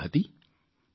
તે જગ્યા હતી